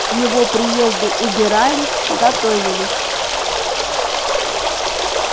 к его приезду убирались готовилась